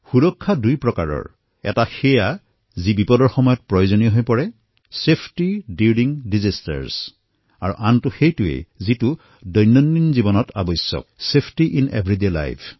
সুৰক্ষা দুই প্ৰকাৰৰ হয় এটা যি বিপদৰ সময়ত প্ৰযোজনীয় দুৰ্যোগৰ সময়ত সুৰক্ষা আৰু দ্বিতীয়টো যি দৈনন্দিন জীৱনত প্ৰয়োজন হয় প্ৰতিদিনৰ সুৰক্ষা